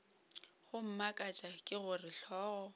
go mmakatša ke gore hlogo